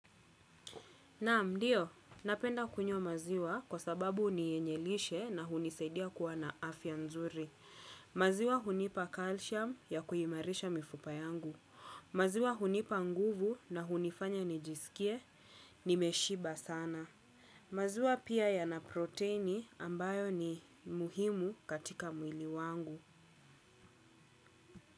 Naam ndiyo, napenda kunywa maziwa kwa sababu ni yenye lishe na hunisaidia kuwa na afya nzuri. Maziwa hunipa calcium ya kuimarisha mifupa yangu. Maziwa hunipa nguvu na hunifanya nijisikie, nimeshiba sana. Maziwa pia yana proteini ambayo ni muhimu katika mwili wangu.